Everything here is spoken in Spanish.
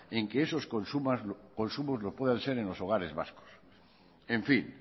en que esos consumos los puedan hacer en los hogares vascos en fin